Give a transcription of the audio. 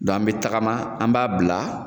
Dɔn a be tagama an b'a bila